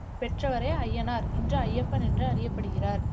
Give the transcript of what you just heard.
பெற்றவரே அய்யனார் இன்று ஐயப்பன் என்று அறியப்படுகிறார்